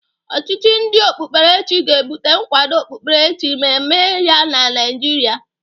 Ọchịchị ndị okpukperechi ga-ebute nkwado okpukperechi ma eme ya na Naịjiria.